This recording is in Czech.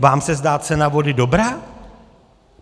Vám se zdá cena vody dobrá?